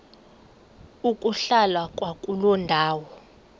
ukuhlala kwakuloo ndawo